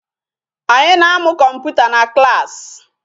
Anyị na-amụ kọmputa na class.